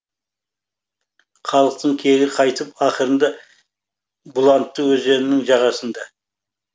халықтың кегі қайтып ақырында бұланты өзенінің жағасында